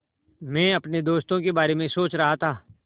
मैं अपने दोस्तों के बारे में सोच रहा था